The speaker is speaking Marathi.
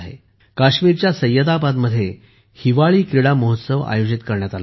काश्मीरच्या सय्यदाबादमधील हिवाळी क्रीडा महोत्सव आयोजित केला होता